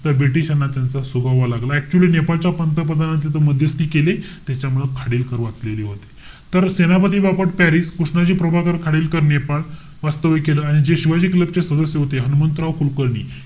तर british ना त्यांचा सुगावा लागला. Actually नेपाळच्या पंतप्रधानांनी तिथे मध्यस्थी केली. त्याच्यामूळ खाडिलकर वाचलेले होते. तर, सेनापती बापट, पॅरिस. कृष्णाजी खाडिलकर, नेपाळ. वास्तव्य केलं. आणि जे शिवाजी क्लब चे सदस्य होते, हनुमंतराव कुलकर्णी,